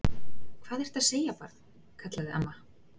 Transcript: Hvað ertu að segja, barn? kallaði amma.